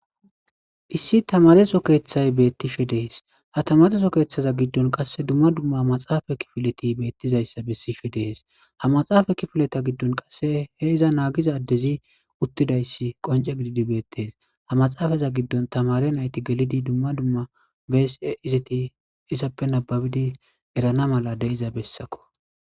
Iissi tamareso keeththay beettishe dees ha tamareso keeththaza giddon qass dumma dumma ha maxaafa kifileti beettizayssa bessishe dees ha maxaafa kifileta giddon qasse he iza naagizadezi uttidayssi qonce gididi beettees ha maxaafaza giddon tamare nayti gelidi dumma dumma bese izeti issappe nababidi erana mala de'iza bessakko.